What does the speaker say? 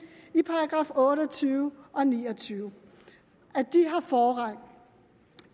i § otte og tyve og § ni og tyve har forrang